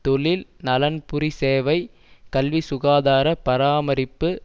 தொழில் நலன்புரி சேவை கல்வி சுகாதார பராமரிப்பு